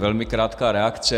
Velmi krátká reakce.